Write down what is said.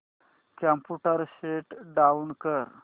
computer shut down कर